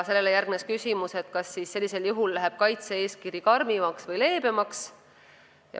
Sellele järgnes küsimus, kas sellisel juhul läheb kaitse-eeskiri karmimaks või leebemaks.